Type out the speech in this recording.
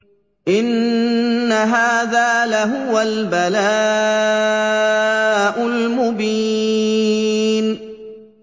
إِنَّ هَٰذَا لَهُوَ الْبَلَاءُ الْمُبِينُ